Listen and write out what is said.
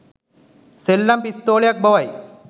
සෙල්ලම් පිස්තෝලයක් බවයි